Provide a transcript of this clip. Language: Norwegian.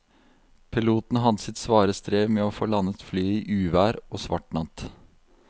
Piloten hadde sitt svare strev med å få landet flyet i uvær og svart natt.